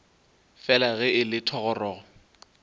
fela ge e le thogorogo